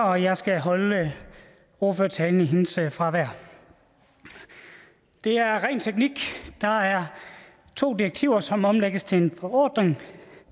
og jeg skal holde ordførertalen i hendes fravær det er ren teknik der er to direktiver som omlægges til en forordning